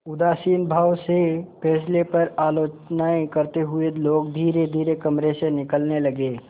उदासीन भाव से फैसले पर आलोचनाऍं करते हुए लोग धीरेधीरे कमरे से निकलने लगे